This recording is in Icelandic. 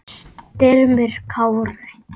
Styrmir Kári.